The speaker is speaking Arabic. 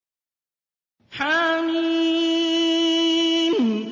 حم